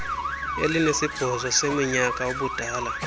elinesibhozo leminyaka ubudala